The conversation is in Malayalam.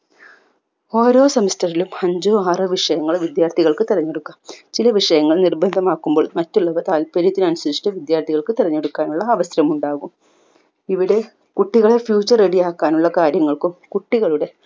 ഓരോ semester ലും അഞ്ചോ ആറോ വിഷയങ്ങൾ വിദ്യാർഥികൾക്ക് തിരഞ്ഞെടുക്കാം ചില വിഷയങ്ങൾ നിർബന്ധമാക്കുമ്പോൾ മറ്റുള്ളവ താൽപര്യത്തിനനുസരിച്ച് വിദ്യാർഥികൾക്ക് തിരഞ്ഞെടുക്കാനുള്ള അവസരം ഉണ്ടാകും ഇവിടെ കുട്ടികളെ future ready ആക്കാനുള്ള കാര്യങ്ങൾക്കും കുട്ടികളുടെ